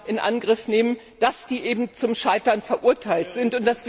in Angriff nehmen, eben zum Scheitern verurteilt sind.